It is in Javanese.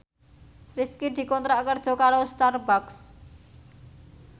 Rifqi dikontrak kerja karo Starbucks